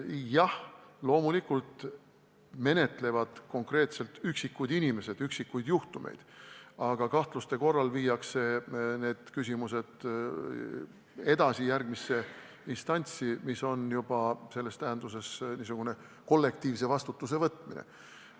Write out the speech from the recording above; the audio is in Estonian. Jah, loomulikult menetlevad inimeste üksikuid juhtumeid konkreetsed isikud, aga kahtluste tekkides viiakse need küsimused edasi järgmisse instantsi, mille korral on tegemist juba kollektiivse vastutuse võtmisega.